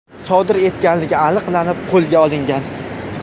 sodir etganligi aniqlanib, qo‘lga olingan.